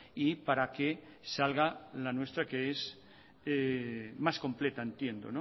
y para que salga la nuestra que es más completa entiendo